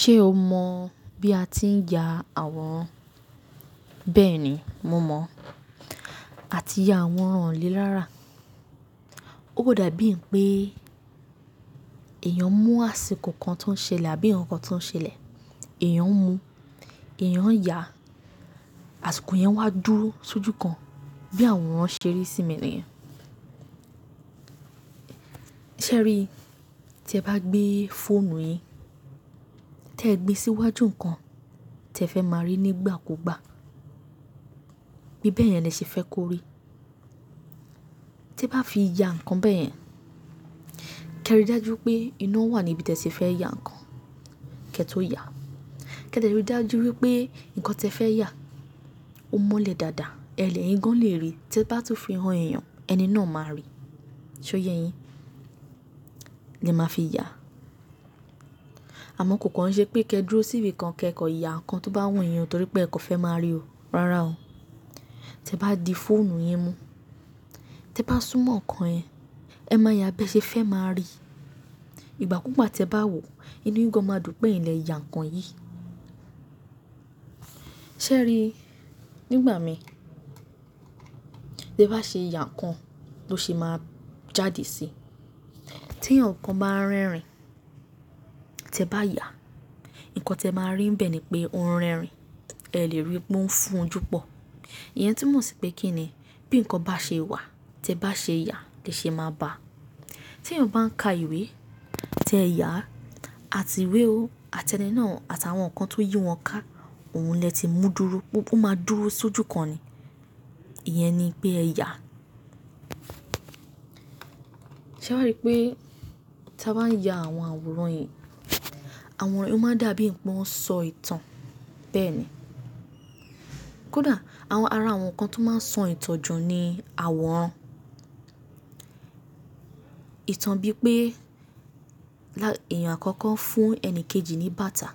Ṣé o mọ̀ bí a ti ń ya àwọran? Bẹ́ẹ̀ni, mo mọ̀. A ti ya àwọran ọ̀ lé rára. Ó kọ̀ dàbí è pé èèyàn mú àsìkò kan tó ń ṣẹlẹ̀ àbí nǹkan tó ń ṣẹlẹ̀, èèyàn ń mu, èèyàn ń ya, àsìkò yẹn wá dúró sójú kan bí àwọrań ṣe rí sími niyen. Ṣé ẹ rí i? Tẹ bá gbé fóònù yìn, tí ẹ gbé sí iwájú nǹkan tí ẹ fẹ́ máa rí nígbà kó gba, bí bẹ́ẹ̀ yẹn lẹ se fẹ́ kó rí. Tẹ bá fi ya ǹkan bẹ́ẹ̀ yẹn, kí ẹ rí dájú pé iná wà ní ibi tí ẹ sì fẹ́ ya ǹkan kí ẹ tó ya. Kí ẹ dẹ̀ rí dájú wípé ǹkan tí ẹ fẹ́ ya ó mọ́lẹ̀ dáadáa, ẹlẹ̀ eyìn gan lè rí i. Tẹ bá tún fi hàn èèyàn, ẹni náà máa rí i. Ṣé ó yẹ yin? Ni ẹ máa fi ya. Àmọ́ kò kàn ṣe pé kí ẹ dúró síbi kan kí ẹ kọ̀ ya ǹkan tó bá wù yín nítorí pé ẹ kò fẹ́ máa rí i. Rárá o. Tẹ bá di fóònù yìn mú, tẹ bá súnmọ́ ǹkan yẹn, ẹ máa ya bí ẹ ṣe fẹ́ máa rí i. Ìgbà kúùgbà tẹ bá wò ó, inú yín gan máa dùn pé ẹ̀yin le ya ǹkan yìí. Ṣé ẹ rí i? Nígbà mi tẹ bá ṣe ya ǹkan ló ṣe máa jáde sí i. Tí eyaǹkan bá ń rẹ́rìn tẹ bá ya, ǹkan tí ẹ máa rí ń bẹ́ẹ̀ ni pé oun rẹ́rìn ẹ lè rí i pé ó ń fún un júpọ̀. Ìyẹn tuńmọ̀ sí pé kí ni bí ǹkan bá ṣe wà tẹ bá ṣe ya lè ṣe máa ba. Tí ẹ̀yàn bá ń ka ìwé, tẹ ya, àti ìwé o, àti ẹni náà àti àwọn ǹkan tó yí wọn ká, òun lè ti mú dúró gbogbo máa dúró sójú kan ni. Ìyẹn ni pé ẹ ya. Ṣé wá rí i pé tí a bá ń ya àwọn àwòrán yìí, àwọn àwòrán yìí ó máa dàbí è pé wọ́n ń sọ ìtàn bẹ́ẹ̀ ni. Kódà àwọn ara àwọn ǹkan tó máa ń sọ ìtàn jù ni àwọran. Ìtàn bíi pé là-- èèyàn àkọ́kọ́ fún ẹni kejì ní bàtà.